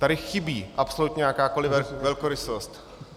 Tady chybí absolutně jakákoliv velkorysost.